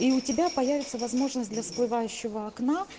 и у тебя появится возможность для всплывающего окна